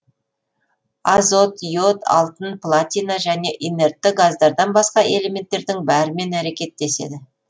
азот йод алтын платина және инертті газдардан басқа элементтердің бәрімен әрекеттеседі